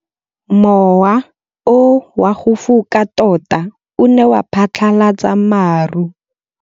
Mowa o wa go foka tota o ne wa phatlalatsa maru.